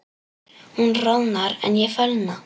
Hún roðnar en ég fölna.